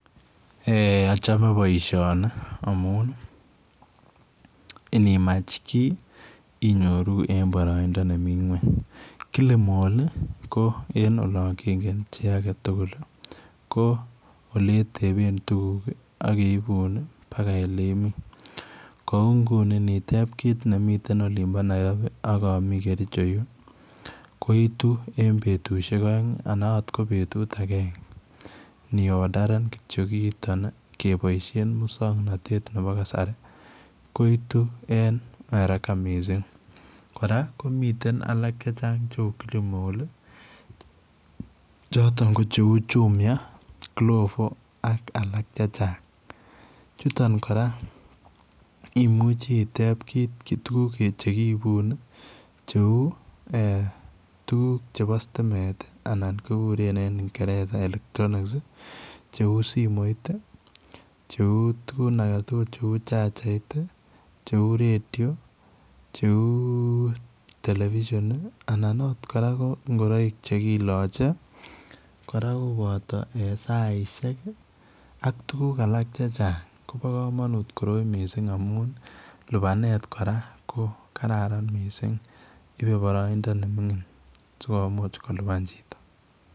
Eeh achame boisioni amuun ii inimaach kiy inyoruu en baraindaa ne Mii kweeny killmall en olaan ingeen chii age tugul ko oletebeen tuguuk ak keibuun ii paka oleimii, kou nguni initeeb kiit nemii Nairobi ak amii kericho koituu en betusiek aeng' anan akoot en betusiek agenge ni orderen kityoi kiitaan kebaisheen musangnatet ab kasari ii koituu en haraka missing' kora komiteen alaak che uu killmall chotoon ko Jumia ,glovo ak alaak che chaang' chutoon kora ii imuuchei iteeb tuguuk che kiibuun ii tuguuk chebo stimeet ii anan kigureen en ingereza [electronics] ii che uu simoit ii che uu tuguun alaak tugul che uu chargait ii ,cheu radio che uu television ii anan akoot ko ingoraik che kilachei ii kora kobata saisiek ak alaak che chaang ko bo kamanut koroi missing' amuun ii lupaneet kora ko kararan missing' iibe baraindaa ne mingiin sikomuuch kolupaan chitoo.